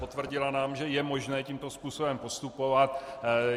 Potvrdila nám, že je možné tímto způsobem postupovat.